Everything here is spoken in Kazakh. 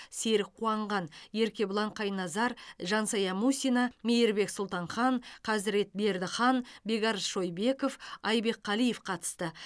серік қуанған еркебұлан қайназар жансая мусина мейірбек сұлтанхан қазырет бердіхан бекарыс шойбеков айбек қалиев қатысты